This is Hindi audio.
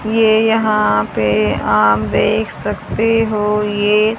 ये यहां पे आप देख सकते हो ये--